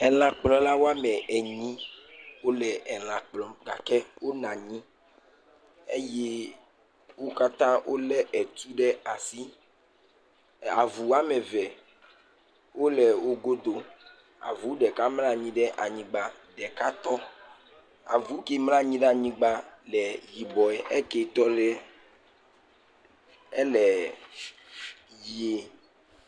Lãkplɔlawo ame enyi wole lã kplɔm gake wonɔ anyi eye wo katã wole etu ɖe asi avuwo ame eve le wogodo avu ɖeka mlɔ anyi ɖe anyigba ɖeka tɔ avu ke mlɔ anyi ɖe anyigba le yibɔe eke tɔ le ɣi